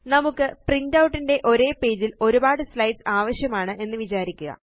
നമുക്ക് പ്രിന്റൌട്ട് ന്റെ ഒരേ പേജില് ഒരുപാട് സ്ലൈഡ്സ് ആവശ്യമാണ് എന്ന് വിചാരിക്കുക